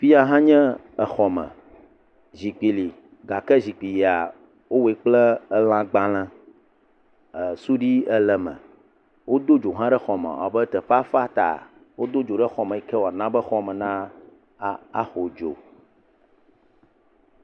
Fi ya hã nye exɔ me, zikpui li gake zikpuia, wowɔe kple elãgbalẽ, e suɖui ele me, wodo dzo hã ɖe exɔ me, ewɔ abe teƒea fa ta, wodo ɖe xɔ me yi ke wòana be xɔ me naxɔ dzo.